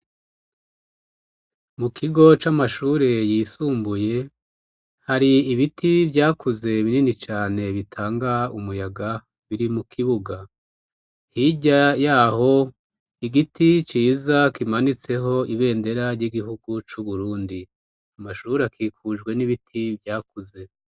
Mu kigo c'amashure yisumbuye, hari ibiti byakuze binini cane bitanga umuyaga biri mu kibuga. Hirya yaho igiti ciza kimanitseho ibendera ry'igihugu c'Uburundi. Amashure akikujwe n'ibiti vyakuze.